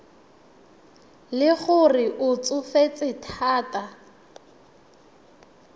le gore o tsofetse thata